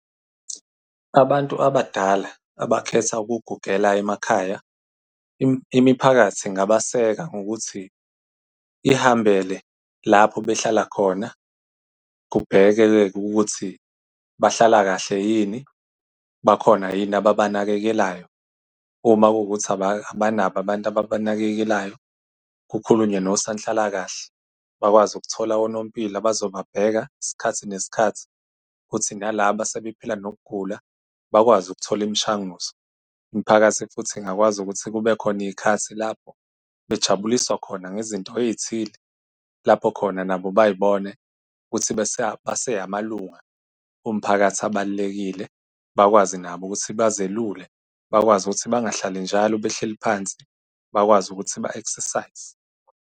Abantu abadala abakhetha ukugugela emakhaya, imiphakathi ingabaseka ngokuthi ihambele lapho behlala khona kubheke-ke ukuthi bahlala kahle yini? Bakhona yini ababanakekelayo? Uma kuwukuthi abanabo abantu ababanakekelayo kukhulunywe nosanhlalakahle bakwazi ukuthola onompilo abazobabheka isikhathi nesikhathi, ukuthi nalaba sebephila nokugula bakwazi ukuthola imishanguzo. Imiphakathi futhi ingakwazi ukuthi kube khona iy'khathi lapho bejabuliswa khona ngezinto ey'thile, lapho khona nabo bay'bone ukuthi base amalunga omphakathi abalulekile, bakwazi nabo ukuthi bazelule, bakwazi ukuthi bangahlali njalo behleli phansi, bakwazi ukuthi ba-exercise.